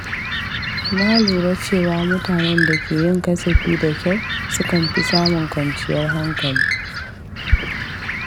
Na lura cewa mutanen da ke yin kasafi da kyau sukan fi samun kwanciyar hankali.